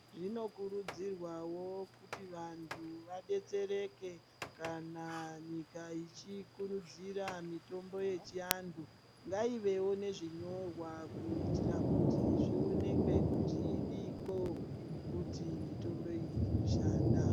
Zvinokurudzirwawo kuti vantu vadetsereke kana nyika ichikirudzira mitombo yechiantu. Ngaivewo nezvinyorwa kuitira kuti zvioneke kuti idiko kuti mitomboyi inoshanda.